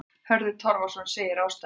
Hörður Torfason segir ástæðuna þessa.